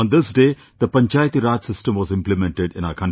On this day, the Panchayati Raj system was implemented in our country